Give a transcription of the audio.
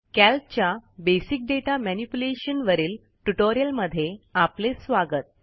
calc च्या basic data manipulation वरील tutorial मध्ये आपले स्वागत